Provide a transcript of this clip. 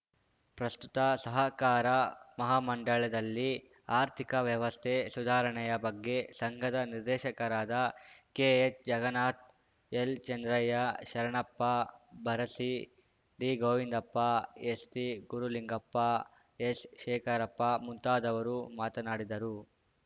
ಪ್ರಸ್ತುತ ಸಹಕಾರ ಮಹಾಮಂಡಳದಲ್ಲಿ ಆರ್ಥಿಕ ವ್ಯವಸ್ಥೆ ಸುಧಾರಣೆಯ ಬಗ್ಗೆ ಸಂಘದ ನಿರ್ದೇಶಕರಾದ ಕೆಎಚ್‌ ಜಗನ್ನಾಥ್‌ ಎಲ್‌ಚಂದ್ರಯ್ಯ ಶರಣಪ್ಪ ಬರಸಿ ಡಿಗೋವಿಂದಪ್ಪ ಎಸ್‌ಟಿ ಗುರುಲಿಂಗಪ್ಪ ಎಸ್‌ಶೇಖರಪ್ಪ ಮುಂತಾದವರು ಮಾತನಾಡಿದರು